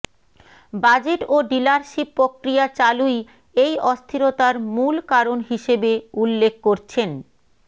budget ও dealership প্রক্রিয়া চালুই এই অস্থিরতার মূল কারণ হিসেবে উল্লেখ করছেন